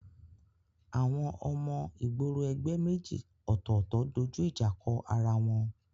Àwọn ọmọ ìgboro ẹgbẹ́ méjì ọ̀tọ̀ọ̀tọ̀ dojú ìjà kọ ara wọn